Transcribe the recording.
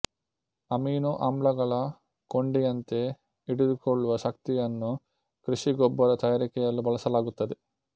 amino ಆಮ್ಲಗಳ ಕೊಂಡಿಯಂತೆ ಹಿಡಿದುಕೊಳ್ಳುವ ಶಕ್ತಿಯನ್ನು ಕೃಷಿ ಗೊಬ್ಬರ ತಯಾರಿಕೆಯಲ್ಲೂ ಬಳಸಲಾಗುತ್ತದೆ